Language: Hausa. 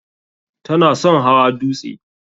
Ta na son hawa dutse.